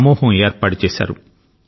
సమూహం ఏర్పాటుచేశారు